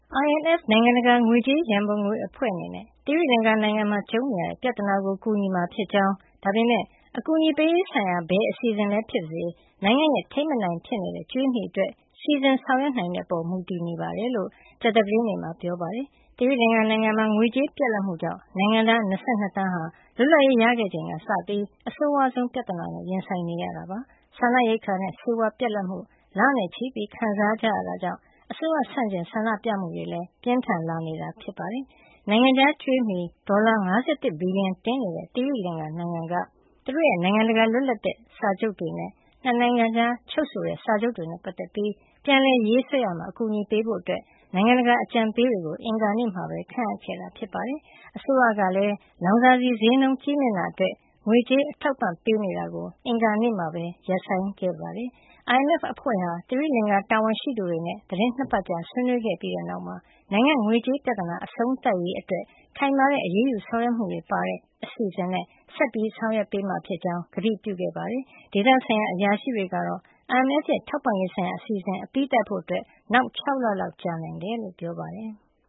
IMF နိုင်ငံတကာ ငွေကြေးရံပုံငွေအဖွဲ့ အနေနဲ့ သီရိလင်္ကာနိုင်ငံမှာ ကြုံနေရတဲ့ ပြဿနာကို ကူညီမှာ ဖြစ်ကြောင်း ဒါပေမယ့် အကူအညီပေးရေးဆိုင်ရာ ဘယ်အစီစဉ်ပဲ ဖြစ်ပါစေ၊ နိုင်ငံရဲ့ ထိမ်းမနိုင်ဖြစ်နေတဲ့ ကြွေးမြီအတွက် စီစဉ်ဆောင်ရွက်နိုင်တဲ့ အပေါ်မူတည်နေကြောင်း ကြာသပတေးနေ့မှာ ပြောပါတယ်။ သီရိလင်္ကာနိုင်ငံမှာ ငွေကြေးပြတ်လပ်မှုကြောင့် နိုင်ငံသား ၂၂ သန်းဟာ လွတ်လပ်ရေးရခဲ့ချိန်ကစပြီး အဆိုးဝါးဆုံးပြဿနာနဲ့ ရင်ဆိုင်နေကြရတာပါ။ စားနပ်ရိက္ခာနဲ့ ဆေးဝါးပြတ်လပ်မှု လနဲ့ချီခံစားရတာကြောင့် အစိုးရဆန့်ကျင် ဆန္ဒပြမှုတွေ ပြင်းထန်လာနေတာ ဖြစ်ပါတယ်။ နိုင်ငံခြားကြွေးမြီ ဒေါ်လာ ၅၁ ဘီလီယံ တင်နေတဲ့ သီရိလင်္ကာနိုင်ငံက သူတို့ရဲ့ နိုင်ငံတကာ လွတ်လပ်တဲ့ စာချုပ်တွေနဲ့ ၂ နိုင်ငံကြား ချုပ်ဆိုတဲ့ စာချုပ်တွေနဲ့ ပတ်သက်ပြီး ပြန်လည်ရေးဆွဲရာမှာ အကူညီပေးဖို့ နိုင်ငံတကာအကြံပေးတွေကို အင်္ဂါနေ့မှာ ခန့်အပ်ခဲ့တာပါ။ အစိုးရကလည်း လောင်စာဆီ ဈေးနှုန်းကြီးမြင့်တာအတွက် ငွေကြေးအထောက်အပံ့ ပေးနေတာကို အင်္ဂါနေ့မှာပဲ ရပ်ဆိုင်းခဲ့ပါတယ်။ IMF အဖွဲ့ဟာ သီရိလင်္ကာတာဝန်ရှိသူတွေနဲ့ သီတင်း ၂ ပတ်ကြာ ဆွေးနွေးခဲ့ပြီးတဲ့နောက်မှာ နိုင်ငံ့ ငွေကြေးပြဿနာ အဆုံးသတ်ရေးအတွက် ခိုင်မာတဲ့အရေးယူ ဆောင်ရွက်မှုတွေပါတဲ့ အစီစဉ်နဲ့ ဆက်လက် ဆောင်ရွက်ပေးမှာ ဖြစ်ကြောင်း ကတိပြုခဲ့ပါတယ်။ ဒေသဆိုင်ရာ အရာရှိတွေကတော့ IMF ရဲ့ ထောက်ပံ့ရေးဆိုင်ရာအစီအစဉ် အပြီးသတ်လုပ်ဆောင်ဖို့ နောက် ၆ လလောက် ကြာနိုင်တယ်လို့ ပြောပါတယ်။